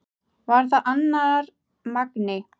Var það annar Magni?